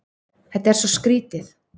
Þetta er svo skrýtið.